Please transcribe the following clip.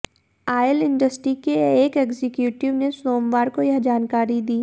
oil industry के एक executive ने सोमवार को यह जानकारी दी